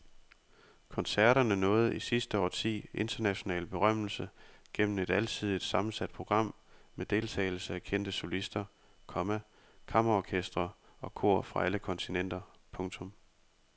Koncerterne nåede i sidste årti international berømmelse gennem et alsidigt sammensat program med deltagelse af kendte solister, komma kammerorkestre og kor fra alle kontinenter. punktum